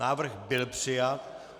Návrh byl přijat.